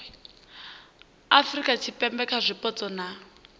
afurika tshipembe kha zwipotso na